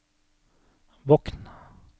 Bokn